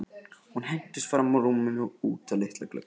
Hún hentist fram úr rúminu og út að litla glugganum.